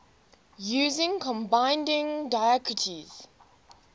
using combining diacritics